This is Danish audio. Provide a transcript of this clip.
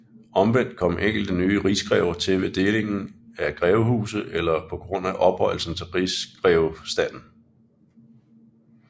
Omvendt kom enkelte nye rigsgrever til ved delingen af grevehuse eller på grund af ophøjelse til rigsgrevestanden